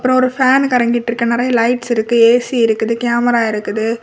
அப்பறொ ஒரு பேன் கரங்கிட்ருக்கு நிறைய லைட்ஸ் இருக்கு ஏ_சி இருக்குது கேமரா இருக்குது.